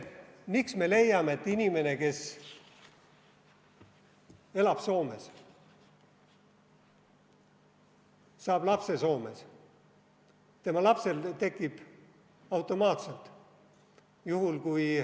Miks me leiame, et inimene, kes elab Soomes, saab lapse Soomes, et tema lapsel tekib automaatselt ...